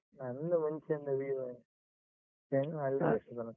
ನಂದು ಮುಂಚೆಯಿಂದ Vivo ನೇ change ಮಾಡ್ಲಿಲ್ಲ ಇಷ್ಟೊತನಕ.